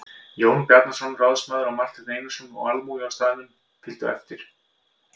Jón Bjarnason ráðsmaður og Marteinn Einarsson og almúgi á staðnum fylgdi á eftir.